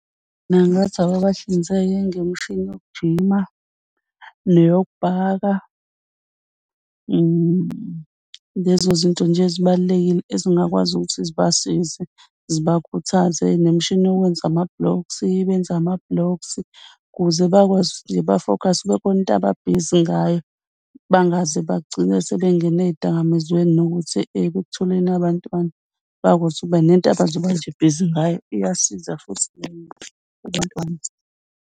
Ngingathi ababahlinzeke ngemishini yokujima neyokubhaka lezo zinto nje ezibalulekile ezingakwazi ukuthi zibasize, zibakhuthaze nemishini yokwenza ama-blocks. Ukwenza ama-blocks ukuze bakwazi bafokhase kube khona into ababhizi ngayo bangaze bagcine sebengene ezidakamizweni. Nokuthi ekutholeni abantwana bakwazi ukuba nento abazokuba nje bhizi ngayo, iyasiza futhi.